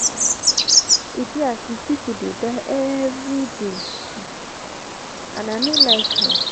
e dey as if people dey die everyday um and i no like am